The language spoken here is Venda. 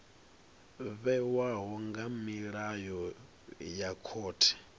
vhewaho nga milayo ya khothe